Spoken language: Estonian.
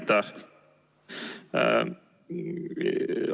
Aitäh!